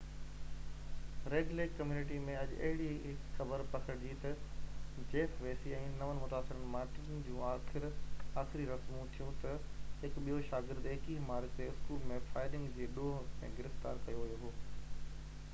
red Lake community ۾ اڄ اهڙي هڪ خبر پکڙجي تہ جيف ويسي ۽ نون متاثرن مان ٽن جون آخري رسمون ٿيون تہ هڪ ٻيو شاگرد 21 مارچ تي اسڪول ۾ فائرنگ جي ڏوه ۾ گرفتار ڪيو ويو هو